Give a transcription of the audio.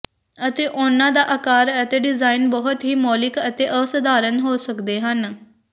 ਅਤੇ ਉਨ੍ਹਾਂ ਦੇ ਆਕਾਰ ਅਤੇ ਡਿਜ਼ਾਈਨ ਬਹੁਤ ਹੀ ਮੌਲਿਕ ਅਤੇ ਅਸਾਧਾਰਣ ਹੋ ਸਕਦੇ ਹਨ